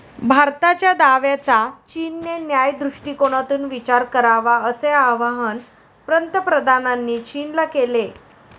भारताच्या दाव्याचा चीनने न्याय्य दृष्टिकोनातून विचार करावा असे आवाहन पंतप्रधानांनी चीनला केले.